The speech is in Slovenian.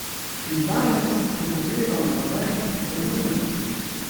In danes, ko pogledam nazaj, razumem.